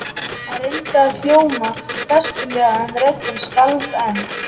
Hann reyndi að hljóma festulega en röddin skalf enn.